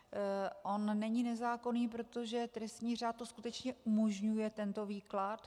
On není nezákonný, protože trestní řád to skutečně umožňuje, tento výklad.